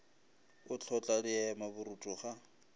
o hlotla diema borutho ga